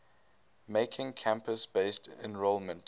making campus based enrollment